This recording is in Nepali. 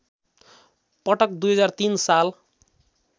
पटक २००३ साल